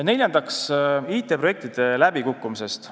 Neljandaks, IT-projektide läbikukkumine.